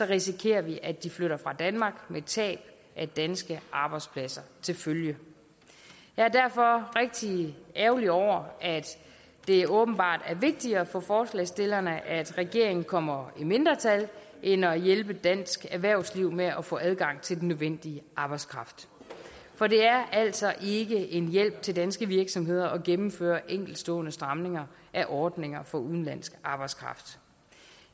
risikerer vi at de flytter fra danmark med tab af danske arbejdspladser til følge jeg er derfor rigtig ærgerlige over at det åbenbart er vigtigere for forslagsstillerne at regeringen kommer i mindretal end at hjælpe dansk erhvervsliv med at få adgang til den nødvendige arbejdskraft for det er altså ikke en hjælp til danske virksomheder at gennemføre enkeltstående stramninger af ordninger for udenlandsk arbejdskraft